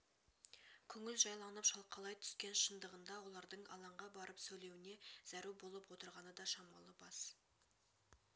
көңіл жайланып шалқалай түскен шындығында олардың алаңға барып сөйлеуіне зәру болып отырғаны да шамалы бас